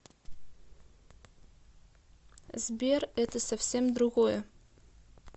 сбер это совсем другое